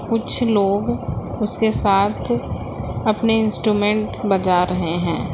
कुछ लोग उसके साथ अपने इंस्ट्रूमेंट बजा रहे हैं।